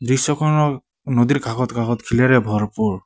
দৃশ্য খনৰ নদীৰ কাষত কাষত শিলেৰে ভৰপূৰ।